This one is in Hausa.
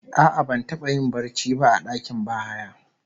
A'a, ban taba yin barci ba a dakin bahaya